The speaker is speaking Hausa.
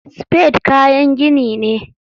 Spade kayan gini ne.